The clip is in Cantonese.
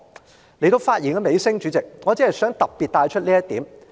主席，來到發言尾聲，我只想特別提到一點。